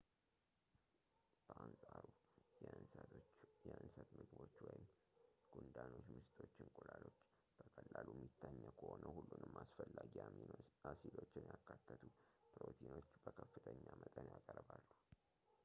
በአንፃሩ፣ የእንስሳት ምግቦች ጉንዳኖች፣ ምስጦች፣ እንቁላሎች በቀላሉ የሚታኘኩ ሆነው ሁሉንም አስፈላጊ አሚኖ አሲዶችን ያካተቱ ፕሮቲኖችን በከፍተኛ መጠን ያቀርባሉ